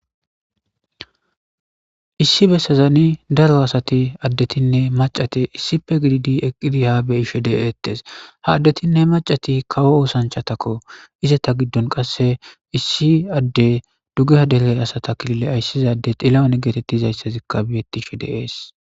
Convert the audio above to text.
Issi bessazani daro asati addetinne macate issipe gididi eqqidi ha beyi she dizays ha addetinne macati kawo oosanchatakko izata giddon qasse issi adde dugeha deley asata kilile ayssizade ilawane geetettizayssazikka biyettishe deees.